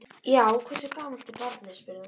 Já, hversu gamalt er barnið? spurði hún.